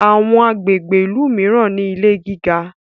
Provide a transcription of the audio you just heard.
Àwọn agbègbè ilú míràn ní ilè gíga.